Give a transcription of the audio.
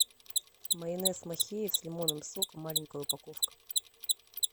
майонез махеев с лимонным соком маленькая упаковка